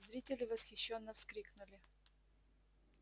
зрители восхищённо вскрикнули